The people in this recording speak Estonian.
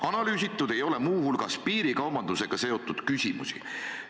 Analüüsitud ei ole muu hulgas piirikaubandusega seotud küsimusi.